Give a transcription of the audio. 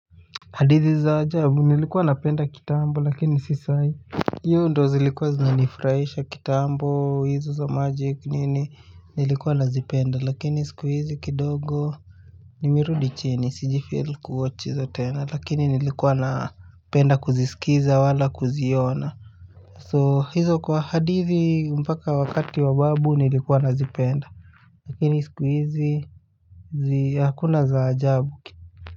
Hadithi za ajabu, nilikuwa napenda kitambo lakini si sahii. Hiyo ndo zilikuwa zinanifraisha kitambo hizo za magic nini nilikuwa nazipenda lakini siku hizi kidogo. Nimerudi chini. Si jifeel ku watch hizo tena lakini nilikuwa napenda kuzisikiza wala kuziona. So hizo kwa hadithi mpaka wakati wa babu nilikuwa nazipenda lakini siku hizi hakuna za ajabu.